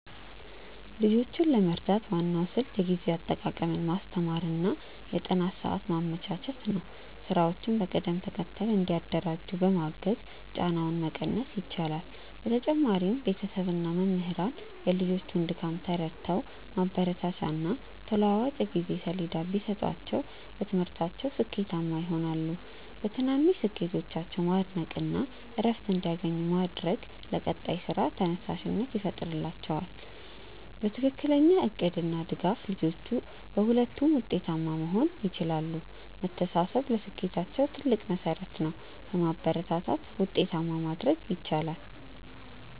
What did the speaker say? ልጆችን ለመርዳት ዋናው ስልት የጊዜ አጠቃቀምን ማስተማር እና የጥናት ሰዓት ማመቻቸት ነው። ስራዎችን በቅደም ተከተል እንዲያደራጁ በማገዝ ጫናውን መቀነስ ይቻላል። በተጨማሪም ቤተሰብ እና መምህራን የልጆቹን ድካም ተረድተው ማበረታቻና ተለዋዋጭ የጊዜ ሰሌዳ ቢሰጧቸው በትምህርታቸው ስኬታማ ይሆናሉ። በትናንሽ ስኬቶቻቸው ማድነቅ እና እረፍት እንዲያገኙ ማድረግ ለቀጣይ ስራ ተነሳሽነት ይፈጥርላቸዋል። በትክክለኛ እቅድ እና ድጋፍ ልጆቹ በሁለቱም ውጤታማ መሆን ይችላሉ። መተሳሰብ ለስኬታቸው ትልቅ መሠረት ነው። በማበረታታት ውጤታማ ማድረግ ይቻላል።